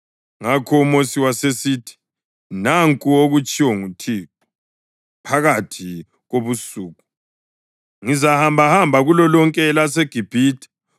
Ngakho uMosi wasesithi, “Nanku okutshiwo nguThixo: ‘Phakathi kobusuku ngizahambahamba kulolonke elaseGibhithe.